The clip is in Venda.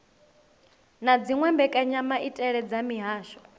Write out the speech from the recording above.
na dziwe mbekanyamaitele dza mihasho